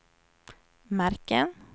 marken